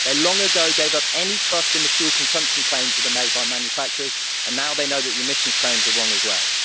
They long ago gave up any trust in the fuel consumption claims that are made by manufacturers, and now they know that the emissions claims are wrong as well.